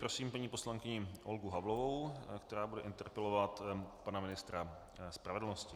Prosím paní poslankyni Olgu Havlovou, která bude interpelovat pana ministra spravedlnosti.